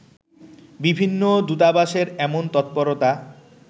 বিভিন্ন দূতাবাসের এমন তৎপরতা